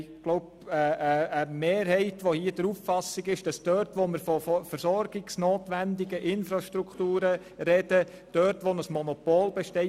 Wir haben wohl eine Mehrheit, die dort die Kantonsmehrheit behalten will, wo wir von versorgungsnotwendigen Infrastrukturen sprechen und ein Monopol besteht.